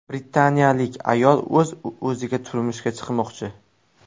Britaniyalik ayol o‘z-o‘ziga turmushga chiqmoqchi.